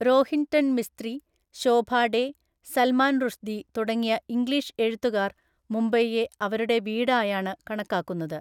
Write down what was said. റോഹിൻടൺ മിസ്ത്രി, ശോഭാ ഡെ, സൽമാൻ റുഷ്‌ദി തുടങ്ങിയ ഇംഗ്ലീഷ് എഴുത്തുകാർ മുംബൈയെ അവരുടെ വീടായാണ് കണക്കാക്കുന്നത്.